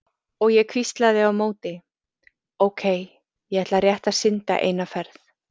Og ég hvíslaði á móti: Ókei, ég ætla rétt að synda eina ferð.